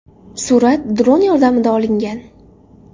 Surat dron yordamida olingan.